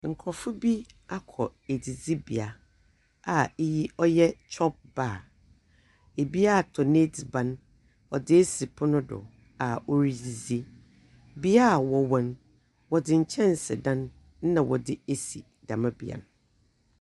Nkorɔfo bi akɔ edzidzibea a iyi ɔyɛ chopbar, bi atɔ n’edziban dze esi pon do a oridzidzi, bea a wɔwɔ no, wɔdze nkyɛnsedan na wɔdze esi dɛm bea no.